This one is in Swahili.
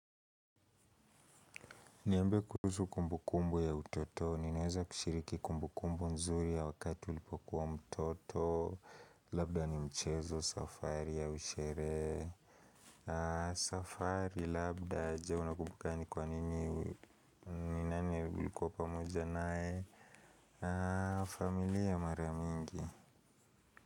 Niambie kuhusu kumbukumbu ya utotoni niweze kushiriki kumbukumbu nzuri ya wakati ulipokuwa mtoto, labda ni mchezo, safari au sherehe. Safari, labda, je unakumbuka ni kwa nini, ni nani ulikuwa pamoja naye, familia mara mingi.